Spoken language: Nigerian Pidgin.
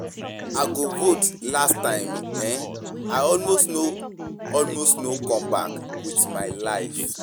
I go vote last time eh, I almost no almost no come back with my life.